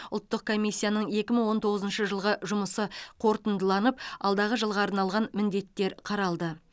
ұлттық комиссияның екі мың он тоғызыншы жылғы жұмысы қорытындыланып алдағы жылға арналған міндеттер қаралды